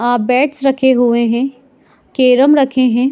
आ beds रखे हुए है कैरम रखे है।